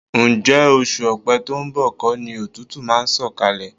Ǹjẹ́ oṣù Ọ̀pẹ to ń bọ̀ kọ́ ni òtútù máa ń sọ̀kalẹ̀?